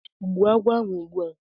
gbuo agwo ugbua!